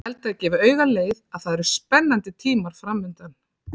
Ég held að það gefi auga leið að það eru spennandi tímar framundan.